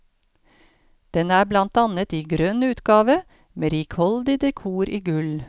Den er blant annet i grønn utgave, med rikholdig dekor i gull.